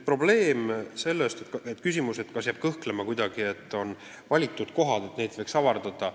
Kõlama jäi ka küsimus, et nõu saab vaid valitud kohtades, kas seda nimekirja võiks pikendada.